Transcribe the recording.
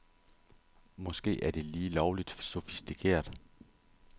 Måske er det lige lovligt sofistikeret.